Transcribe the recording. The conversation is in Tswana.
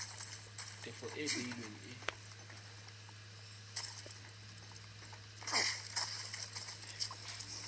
tefo e e beilweng e